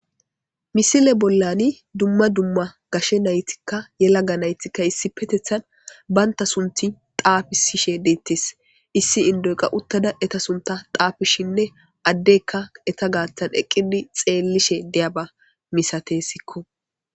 misile bollani dumma dumma gashe naytikka yelaga naytikka issi petethan baynta sunti taafisishe deettes issi indoyqa uttada eta sunta taafishinne addekka eta gaathan eqqidi xeellishe deyaba misatessikko